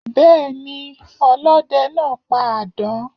Béeni, ọlóde naa pa àdán